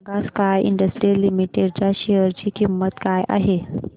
सांगा sky industries limited च्या share ची किंमत काय आहे